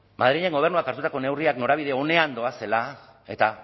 madrilen gobernuak hartutako neurriak norabide onean doazela eta